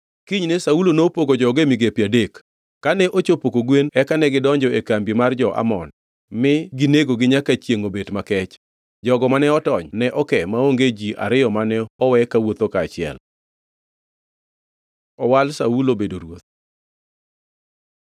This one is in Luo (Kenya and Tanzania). Kinyne Saulo nopogo joge e migepe adek; kane ochopo kogwen eka negidonjo e kambi mar jo-Amon mi ginegogi nyaka chiengʼ obet makech. Jogo mane otony ne oke maonge ji ariyo mane owe kawuotho kaachiel. Owal Saulo bedo ruoth